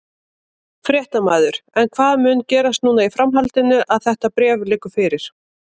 Fréttamaður: En hvað mun gerast núna í framhaldinu að þetta bréf liggur fyrir?